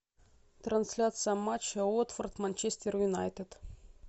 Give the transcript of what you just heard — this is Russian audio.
трансляция матча уотфорд манчестер юнайтед